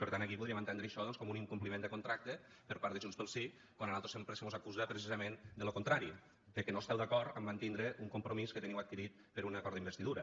per tant aquí podríem entendre això doncs com un incompliment de contracte per part de junts pel sí quan a nosaltres sempre se mos acusa precisament de lo contrari que no esteu d’acord amb mantindre un compromís que teniu adquirit per un acord d’investidura